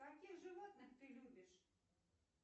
каких животных ты любишь